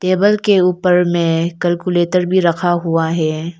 Table के ऊपर में कैलकुलेटर भी रखा हुआ है।